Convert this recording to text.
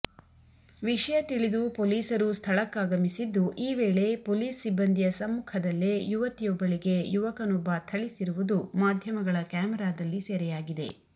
ವಿಷಯ ತಿಳಿದು ಪೊಲೀಸರು ಸ್ಥಳಕ್ಕಾಗಮಿಸಿದ್ದು ಈ ವೇಳೆ ಪೊಲೀಸ್ ಸಿಬಂದಿಯ ಸಮ್ಮುಖದಲ್ಲೇ ಯುವತಿಯೊಬ್ಬಳಿಗೆ ಯುವಕನೊಬ್ಬ ಥಳಿಸಿರುವುದು ಮಾಧ್ಯಮಗಳ ಕ್ಯಾಮಾರದಲ್ಲಿ ಸೆರೆಯಾಗಿದೆ